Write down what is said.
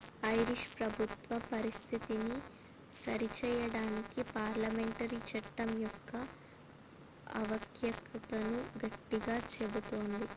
Irish ప్రభుత్వం పరిస్థితిని సరిచేయడానికి పార్లమెంటరీ చట్టం యొక్క ఆవశ్యకతను గట్టిగా చెబుతోంది